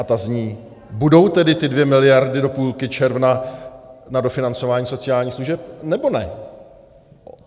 A ta zní: Budou tedy ty dvě miliardy do půlky června na dofinancování sociálních služeb, nebo ne?